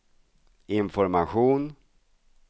information